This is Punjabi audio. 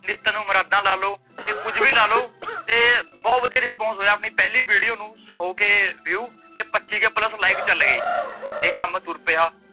ਨੀਤਾਂ ਨੂੰ ਮੁਰਾਦਾਂ ਲਾਲੋ ਕੁਝ ਵੀ ਲਾਲੋ ਬਹੁਤ ਵੱਧੀਆ response ਹੋਇਆ ਆਪਣੀ ਪਹਿਲੀ video ਨੂੰ ਸੋ k view ਤੇ ਪਚੀ k plus live ਚੱਲਗੇ ਇਹ ਕੰਮ ਤੁਰ ਪਿਆ